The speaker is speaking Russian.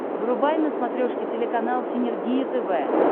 врубай на смотрешке телеканал синергия тв